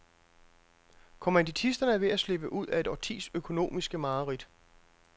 Kommanditisterne er ved at slippe ud af et årtis økonomiske mareridt.